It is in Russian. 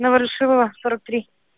на ворошилова сорок три